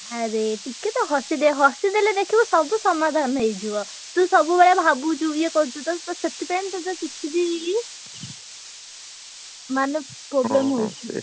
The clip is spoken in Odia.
ଆରେ ଟିକେ ତ ହସି ଦେ ହସିଦେଲେ ଦେଖିବୁ ସବୁ ସମାଧାନ ହେଇଯିବ| ତୁ ସବୁବେଳେ ଭାବୁଛୁ ଇଏ କରୁଚୁ ତୋର ତ ସେଥିପାଇଁ ତତେ କିଛି ବି ମାନେ problem ହଉଛି।